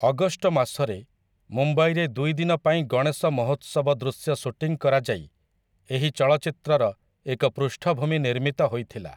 August ମାସରେ ମୁମ୍ବାଇରେ ଦୁଇ ଦିନ ପାଇଁ ଗଣେଶ ମହୋତ୍ସବ ଦୃଶ୍ୟ ଶୁଟିଂ କରାଯାଇ ଏହି ଚଳଚ୍ଚିତ୍ରର ଏକ ପୃଷ୍ଠଭୂମି ନିର୍ମିତ ହୋଇଥିଲା ।